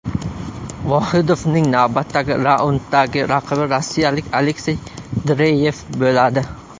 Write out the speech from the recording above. Vohidovning navbatdagi raunddagi raqibi rossiyalik Aleksey Dreyev bo‘ladi.